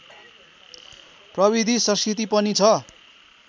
प्रविधि संस्कृति पनि छ